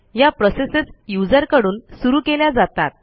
या प्रोसेसेस userकडून सुरू केल्या जातात